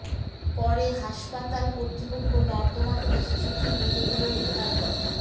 পরে হাসপাতাল কর্তৃপক্ষ নর্দমা থেকে শিশুটির মৃতদেহ উদ্ধার করে